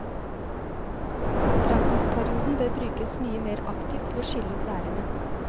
Praksisperioden bør brukes mye mer aktivt til å skille ut lærerne.